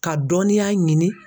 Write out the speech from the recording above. Ka dɔnninya ɲini.